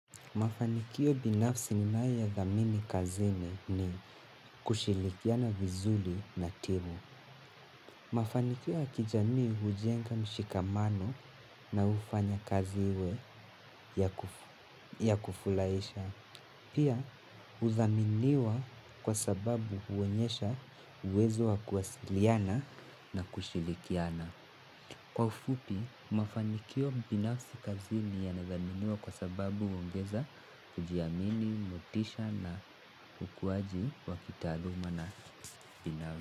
Mafanikio binafsi ninayo dhamini kazini ni kushirikiana vizuri na timu. Mafanikio ya kijamii hujenga mshikamano na hufanya kaziwe ya kufurahisha. Pia, hudhaminiwa kwa sababu huonyesha uwezo wa kuwasiliana na kushirikiana. Kwa ufupi, mafanikio binafsi kazini yanadhaminiwa kwa sababu huongeza kujiamini, motisha na ukuaji wa kitaluma na binafsi.